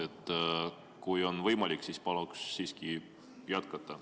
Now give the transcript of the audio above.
Kui on võimalik, siis palun siiski jätkata.